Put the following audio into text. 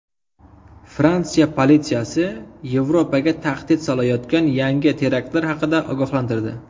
Fransiya politsiyasi Yevropaga tahdid solayotgan yangi teraktlar haqida ogohlantirdi.